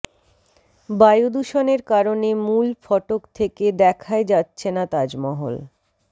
বায়ুদূষণের কারণে মূল ফটক থেকে দেখাই যাচ্ছে না তাজমহল